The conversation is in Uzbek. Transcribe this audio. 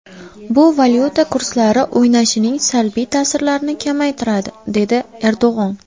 Bu valyuta kurslari o‘ynashining salbiy ta’sirlarini kamaytiradi”, dedi Erdo‘g‘on.